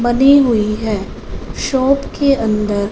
बंदी हुई है शॉप के अंदर --